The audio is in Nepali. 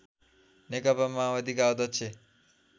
नेकपा माओवादीका अध्यक्ष